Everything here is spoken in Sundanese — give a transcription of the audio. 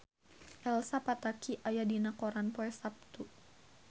Elsa Pataky aya dina koran poe Saptu